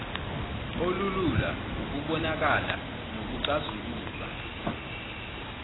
olulula ukubonakala nokuxazululwa